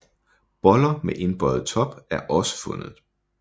Boller med indbøjet top er også fundet